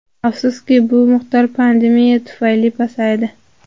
Afsuski, bu miqdor pandemiya tufayli pasaydi.